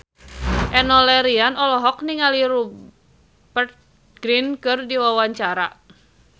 Enno Lerian olohok ningali Rupert Grin keur diwawancara